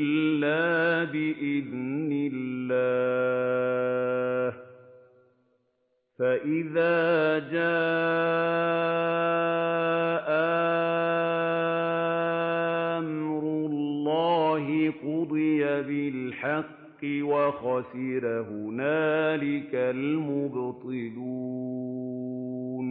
إِلَّا بِإِذْنِ اللَّهِ ۚ فَإِذَا جَاءَ أَمْرُ اللَّهِ قُضِيَ بِالْحَقِّ وَخَسِرَ هُنَالِكَ الْمُبْطِلُونَ